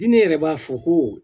Diinɛ yɛrɛ b'a fɔ ko